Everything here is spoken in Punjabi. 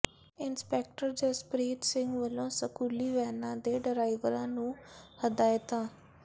ਇੰਸਪੈਕਟਰ ਜਸਪ੍ਰੀਤ ਸਿੰਘ ਵਲੋਂ ਸਕੂਲੀ ਵੈਨਾਂ ਦੇ ਡਰਾਈਵਰਾਂ ਨੂੰ ਹਦਾਇਤਾਂ